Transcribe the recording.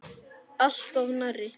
Alltof nærri.